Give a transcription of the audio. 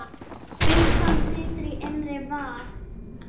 Byssan situr í innri vas